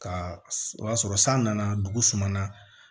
Ka o y'a sɔrɔ san nana dugu sumana